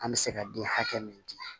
An bɛ se ka den hakɛ min di